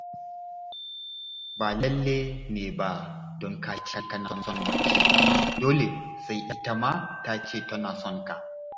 Ba lalle ne ba don ka ce kana son mace dole sai ita ma ta ce tana son ka.